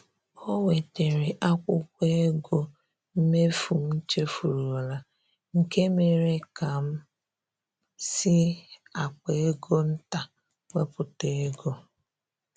O wetere akwụkwọ ego mmefu m chefurula, nke mere ka m si akpa ego nta wepụta ego